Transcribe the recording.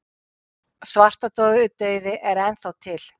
Já, svartidauði er enn þá til.